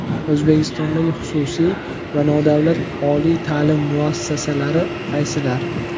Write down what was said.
O‘zbekistondagi xususiy va nodavlat oliy ta’lim muassasalari qaysilar?.